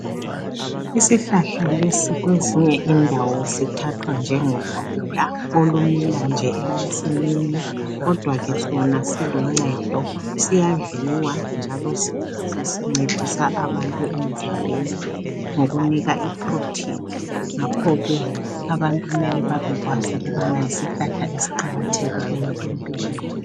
Isihlahla lesi kwezinye indawo sithathwa njengokula olumila nje emasini kodwake sona silocedo, siyadliwa njalo sisincedisa abantu emzimbeni ngokunika iphurotheni. Ngakhoke abantu kumele babekwazi ukubana yisihlahla esiqakathileyo emphilweni.